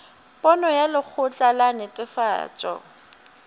pono ya lekgotla la netefatšo